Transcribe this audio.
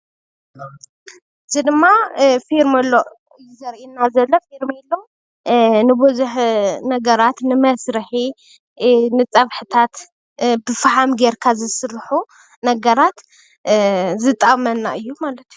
ፌርኔሎ ናይ ገዛ ኣቀሓ እንትኸውን ንምግቢ መብሰሊ ይጠቅም።